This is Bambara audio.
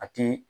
A ti